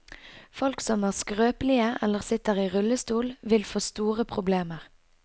Folk som er skrøpelige eller sitter i rullestol, vil få store problemer.